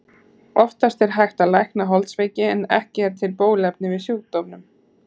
Oftast er hægt að lækna holdsveiki en ekki er til bóluefni við sjúkdómnum.